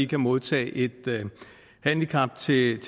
kan modtage et handicaptillæg